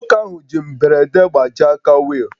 Nwoke ahụ ji mberede gbajie aka wheel